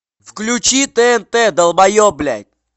включи тнт долбоеб блядь